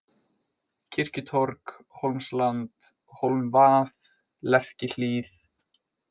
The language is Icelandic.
Kirkjutorg, Hólmsland, Hólmvað, Lerkihlíð